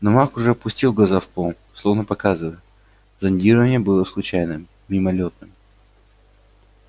но маг уже опустил глаза в пол словно показывая зондирование было случайным мимолётным